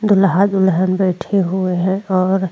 दुल्हा दुल्हन बैठे हुए हैं और --